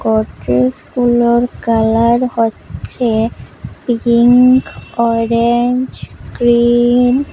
গুলোর কালার হচ্ছে pink orange green.